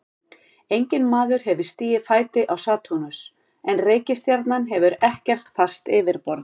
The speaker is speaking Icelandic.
Enginn maður hefur stigið fæti á Satúrnus en reikistjarnan hefur ekkert fast yfirborð.